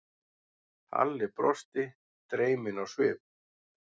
Halli brosti, dreyminn á svip.